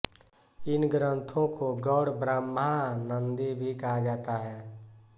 इन ग्रन्थों को गौड़ब्रह्मानन्दी भी कहा जाता है